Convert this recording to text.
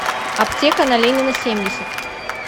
аптека на ленина семьдесят